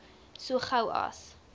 so gou as